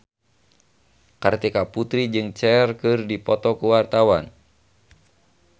Kartika Putri jeung Cher keur dipoto ku wartawan